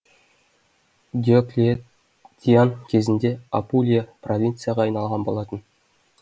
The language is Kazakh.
диоклетиан кезінде апулия провинцияға айналған болатын